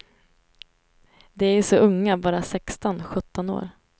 De är ju så unga, bara sexton, sjutton år.